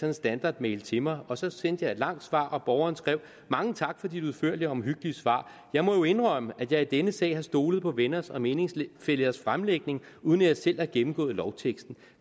en standardmail til mig og så sendte jeg et langt svar hvortil borgeren skrev mange tak for dit udførlige og omhyggelige svar jeg må jo indrømme at jeg i denne sag har stolet på venners og meningsfællers fremlægning uden at jeg selv har gennemgået lovteksten